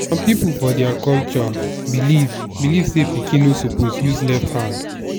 some people for dia culture believe believe say pikin no suppose use left hand.